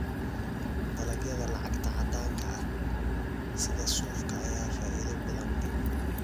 Dalagyada lacagta caddaanka ah sida suufka ayaa faa'iido badan leh.